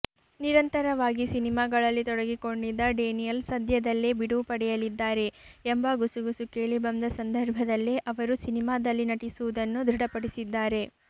ನಿರಂತರವಾಗಿ ಸಿನಿಮಾಗಳಲ್ಲಿ ತೊಡಗಿಕೊಂಡಿದ್ದ ಡೇನಿಯಲ್ ಸದ್ಯದಲ್ಲೇ ಬಿಡುವು ಪಡೆಯಲಿದ್ದಾರೆ ಎಂಬ ಗುಸುಗುಸು ಕೇಳಿಬಂದ ಸಂದರ್ಭದಲ್ಲೇ ಅವರು ಸಿನಿಮಾದಲ್ಲಿ ನಟಿಸುವುದನ್ನು ದೃಢಪಡಿಸಿದ್ದಾರೆ